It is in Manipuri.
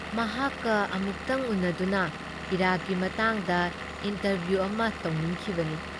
ꯃꯍꯥꯛꯀ ꯑꯃꯨꯛꯇꯪ ꯎꯅꯗꯨꯅ ꯏꯔꯥꯛꯀꯤ ꯃꯇꯥꯡꯗ ꯏꯟꯇꯔꯚꯤꯌꯨ ꯑꯃ ꯇꯧꯅꯤꯡꯈꯤꯕꯅꯤ꯫